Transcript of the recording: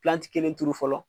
kelen turu fɔlɔ